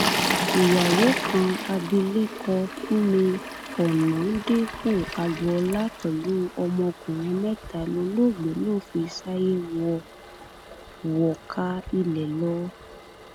ìyàwó kan abilékọ fúnmi ọnàdẹpọagboola pẹlú ọmọkùnrin mẹta lọlọọgbẹ náà fi ṣàyé wọ káa ilé lọ